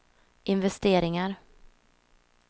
investeringar